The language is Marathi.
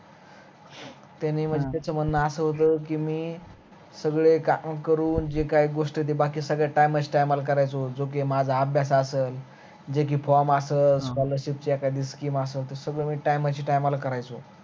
त्यान त्याच म्हणन अस होत कि मी सगळे काम करून जे काही गोष्टी आहे त्या बाकी time, time करायचो होत जो कि माझा अभ्यास असल जेकी form असल scholarship ची एखादी scheme असल सगळ मी time, time शी करायचो